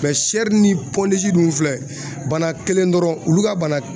ni dun filɛ bana kelen dɔrɔn olu ka bana